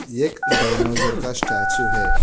एक डायनोजर का स्टैचू है।